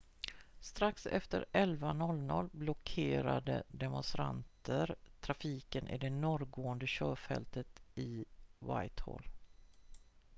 strax efter 11.00 blockerade demonstranter trafiken i det norrgående körfältet i whitehall